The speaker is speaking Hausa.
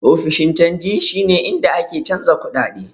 Ofishin canji shi ne inda ake canjin kuɗaɗe.